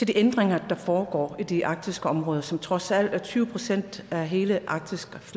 de ændringer der foregår i de arktiske områder som trods alt er tyve procent af hele arktis